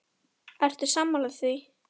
Ertu sammála því?